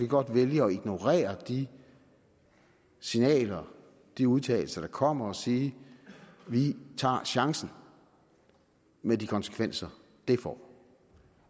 godt vælge at ignorere de signaler og de udtalelser der kommer og sige at vi tager chancen med de konsekvenser det får